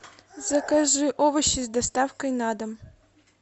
закажи овощи с доставкой на дом